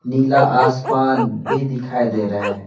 नीला आसमान भी दिखाई दे रहा है।